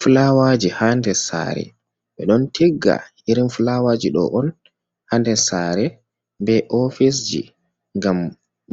Filawaji haa nder saare, ɓe ɗon tigga irin filawaji do on Haa nder saare, be ofisji, ngam